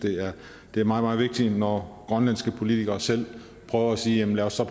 det er meget meget vigtigt når grønlandske politikere selv prøver at sige lad os så